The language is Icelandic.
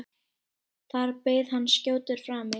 Þar beið hans skjótur frami.